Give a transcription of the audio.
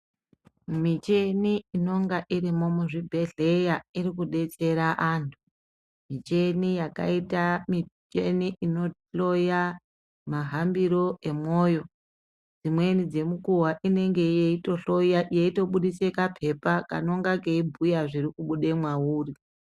Micheni inonga irimo muzvibhehleya irikudetsera anthu micheni yakaita micheni inohloya mahambiro emwoyo dzimweni dzemukuwa inenge yeitohloya yeitobudise kapepa kanonga keibhuya zvirikubude mwauri